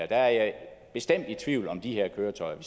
der er jeg bestemt i tvivl om de køretøjer